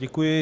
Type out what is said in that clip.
Děkuji.